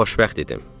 Xoşbəxt idim.